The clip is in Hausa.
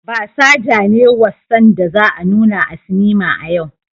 Basaja ne wassan da za a nuna a sinima a yau.